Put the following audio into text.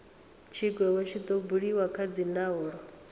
tshigwevho tshi do buliwa kha dzindaulo